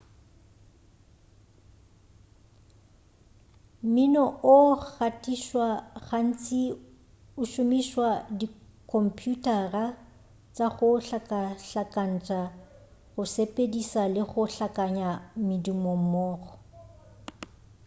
mmino o gatišwa gantši go šomišwa dikhomphuthara tša go hlakahlakantšha go sepediša le go hlakanya medumo mmogo